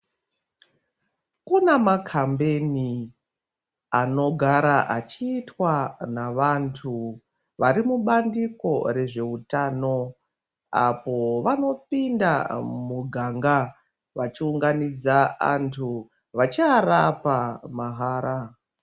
Kune makambeni anogara achiitwa navantu vari mubandiko rezveutano apo vanopinda mumuganga vachiunganidza antu vachiarapa mahara.